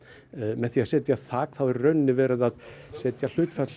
með því að setja þak er verið að setja